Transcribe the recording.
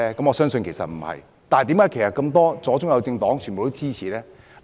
我相信不是，但是，為何左、中、右政黨也支持呢？